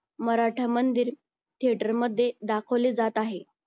Maratha Mandir theatre मध्ये दाखवले जात आहे